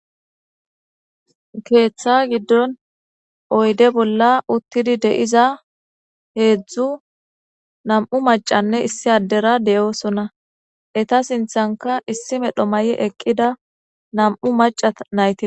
Keeththa giddon oyde bolla uttidi deiza heedzdzu nam7u macanne issi addera deyoosonna eta sinthanka issi medho ma7i eqqida nam'u maca nayti.